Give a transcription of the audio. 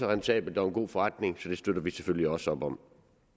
rentabelt og en god forretning så det støtter vi selvfølgelig også op om